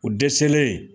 U dɛsɛlen